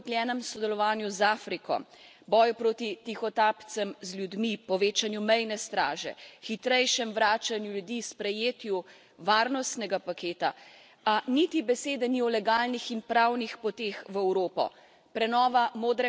Zaključki govorijo o okrepljenem sodelovanju z Afriko, boju proti tihotapcem z ljudi, povečanju mejne straže, hitrejšem vračanju ljudi, sprejetju varnostnega paketa, a niti besede ni o legalnih in pravnih poteh v Evropo.